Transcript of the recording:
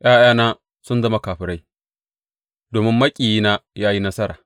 ’Ya’yana sun zama fakirai domin maƙiyina ya yi nasara.